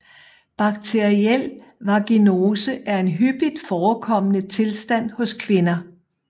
Bakteriel vaginose er en hyppigt forekommende tilstand hos kvinder